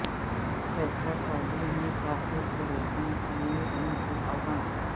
فیصلہ سازی میں تاخیر کو روکنے کے لئے ان کے عزم